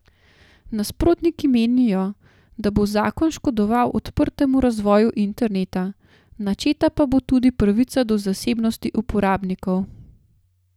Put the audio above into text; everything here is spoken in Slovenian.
Nasprotniki menijo, da bo zakon škodoval odprtemu razvoju interneta, načeta pa bo tudi pravica do zasebnosti uporabnikov.